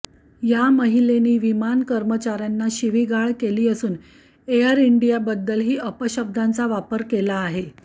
या महिलेनी विमान कर्मचाऱ्यांना शिवीगाळ केली असून एअर इंडियाबद्दल ही अपशब्दांचा वापर केला आहे